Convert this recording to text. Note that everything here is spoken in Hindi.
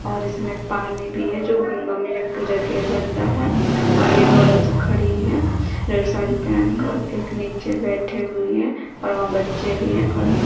और इसमें पानी भी है जो गंगा मईया का पूजा किया जाता है और एक औरत खड़ी है रेड साड़ी पहन कर एक नीचे बैठी हुई हैं और वहां बच्चे भी हैं और --